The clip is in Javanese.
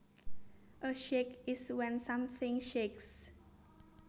A shake is when something shakes